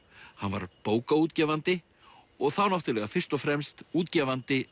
hann var bókaútgefandi og þá náttúrulega fyrst og fremst útgefandi